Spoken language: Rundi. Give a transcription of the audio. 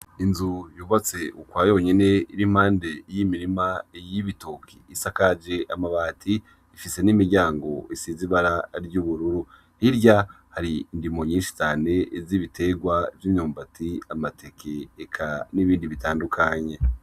Inzu yubatse ukwayonyene iri impande y'imirima y'ibitoke, isakaje amabati ifise n'imiryango isize ibara ry'ubururu, hirya hari indimo nyinshi cane z'ibiterwa vy'imyumbati, amateke eka nibindi bitandukanye.